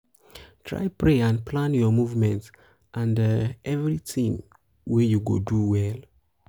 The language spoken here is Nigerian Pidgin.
try pray and pray and um plan um your movement and um everything wey you go do well